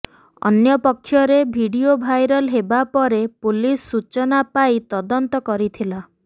ଅନ୍ୟ ପକ୍ଷରେ video viral ହେବା ପରେ ପୁଲିସ ସୂଚନା ପାଇ ତଦନ୍ତ କରିଥିଲା